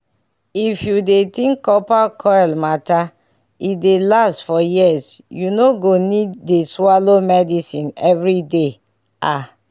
if u dey think copper coil matter e dey last for years u no go need dey swallow medicine everyday ah!